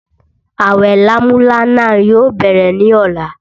Awẹ lámúlánà yóò bẹ̀rẹ̀ ní ọ̀la